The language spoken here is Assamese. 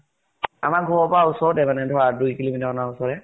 আমাৰ ঘৰৰ পৰা ওচৰতে মানে ধৰা দুই kilo meter মান হব।